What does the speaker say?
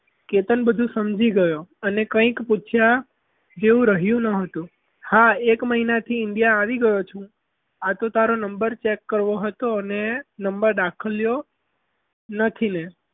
કેતન બધું સમજી ગયો અને કંઈ કહેવા જેવું રહ્યું ન હતું. હા એક મહિનાથી india આવી ગયો છું હું આ તો તારો number check કરવો હતો અને number આપ્યો નથી ને